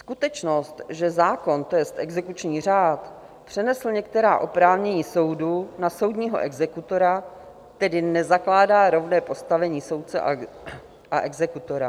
Skutečnost, že zákon, to jest exekuční řád, přenesl některá oprávnění soudu na soudního exekutora, tedy nezakládá rovné postavení soudce a exekutora."